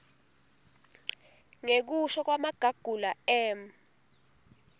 ngekusho kwamagagula m